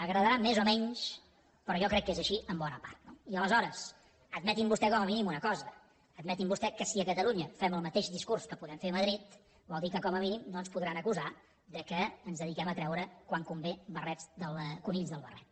agradarà més o menys però jo crec que és així en bona part no i aleshores admetin vostès com a mínim una cosa admetin vostès que si a catalunya fem el mateix discurs que podem fer a madrid vol dir que com a mínim no ens podran acusar que ens dediquem a treure quan convé conills del barret